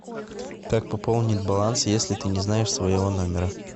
как пополнить баланс если ты не знаешь своего номера